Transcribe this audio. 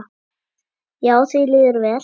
Já, því líður vel.